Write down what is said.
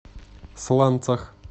сланцах